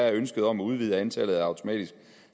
at ønsket om at udvide antallet af automatiske